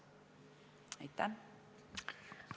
Aitäh!